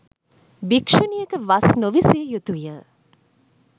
භික්‍ෂුණියක වස් නොවිසිය යුතු ය.